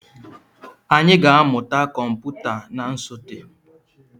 Anyị ga-amụta kọmputa na nsote.